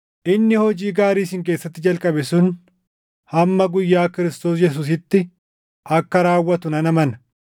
inni hojii gaarii isin keessatti jalqabe sun hamma guyyaa Kiristoos Yesuusitti akka raawwatu nan amana.